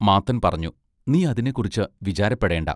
മാത്തൻ പറഞ്ഞു: നീ അതിനെക്കുറിച്ച് വിചാരപ്പെടേണ്ടാ.